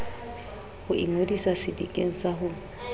ho ingodisa sedikeng sa ho